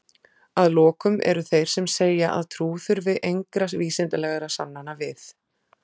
að lokum eru þeir sem segja að trú þurfi engra vísindalegra sannana við